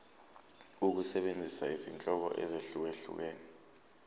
ukusebenzisa izinhlobo ezahlukehlukene